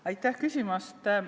Aitäh küsimast!